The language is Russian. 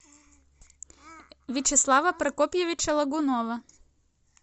вячеслава прокопьевича логунова